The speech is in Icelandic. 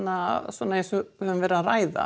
svona eins og við höfum verið að ræða